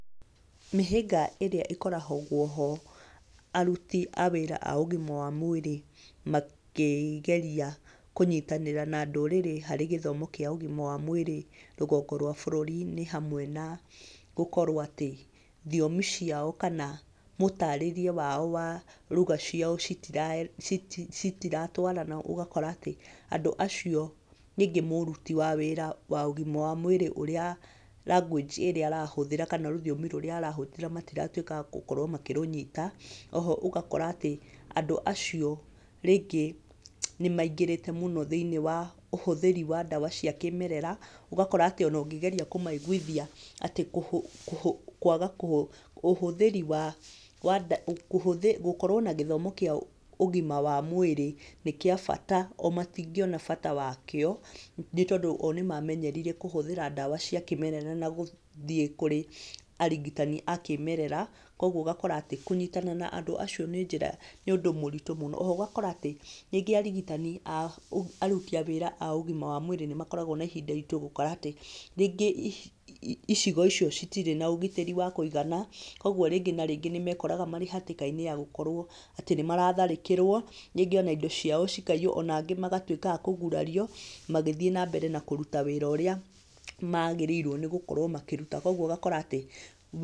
Mĩhĩnga ĩrĩa ĩkoragwo ho, aruti a wĩra a ũgima wa mwĩrĩ, makĩ geria kũnyitanĩra na ndũrĩrĩ harĩ gĩthomo kĩa ũgima wa mwĩrĩ nĩgũkorwo bũrũri nĩ hamwe na gũkorwo atĩ thiomi ciao kana mũtarĩrie wao wa ruga ciao citira ci citiratwarana, ũgakora atĩ, andũ acio rĩngĩ nĩ mũruti wa wĩra wa ũgima wa mwĩrĩ ũrĩa language ĩrĩa arahũthĩra kana rũthiomi rũrĩa arahũthĩra mũtiratwĩka a gũkorwo mũkĩrũnyita, oho ũgakora atĩ, andũ acio rĩngĩ nĩmaingĩrĩte thĩ-inĩ wa ũhũthĩri wa ndawa cia kĩmerera, ũgakora atĩ ona ũngĩgeria kũmaiguithia atĩ ũhũ ũhũ, kwaga kũhũ, ũhũthĩri wa nda gũkorwo na gĩthomo kĩa ũgima wa mwĩrĩ nĩ kĩa bata o matingĩona bata wa kĩo nĩtondũ o nĩmamenyerire kũhũthĩra ndawa cia kĩmerera an gũthiĩ kũrĩ arigitani a kĩmerera, koguo ũgakora atĩ kũnyitanĩra na andũ acio nĩ njĩra, nĩ ũndũ ũmwe mũritũ mũno, oho ũgakora atĩ, rĩngĩ arigitani a aruti a wĩra a ũgima wa mwĩrĩ nĩmakoragwo na ihinda gũkora atí, rĩngĩ icigo icio citirĩ na ũgitĩri wa kũigana, koguo rĩngĩ na rĩngĩ nĩmekoraga me hatĩka-iní ya gũkorwo atĩ nĩmaratharĩkĩrwo rĩngĩ ona indo ciao cikaiywo ona angĩ magatwĩka a kũgurario, magĩthiĩ nambere na kũruta wĩra ũrĩa magĩrĩirwo nĩgũkorwo makĩruta, koguo ũgakora atĩ.